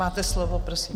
Máte slovo, prosím.